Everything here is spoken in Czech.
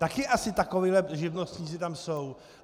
Taky asi takoví živnostníci tam jsou.